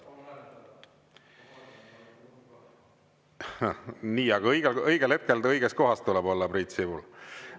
Nii, aga õigel hetkel õiges kohas tuleb olla, Priit Sibul.